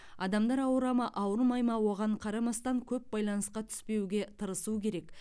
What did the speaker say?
адамдар ауыра ма ауырмай ма оған қарамастан көп байланысқа түспеуге тырысу керек